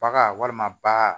Baga walima ba